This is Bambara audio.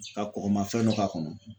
Ka kɔgɔmafɛn dɔ k'a kɔnɔ.